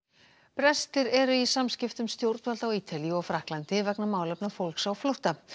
brestir eru í samskiptum stjórnvalda á Ítalíu og Frakklandi vegna málefna fólks á flótta